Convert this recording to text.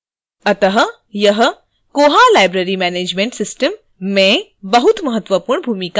अतः यह koha library management system में बहुत महत्वपूर्ण भूमिका है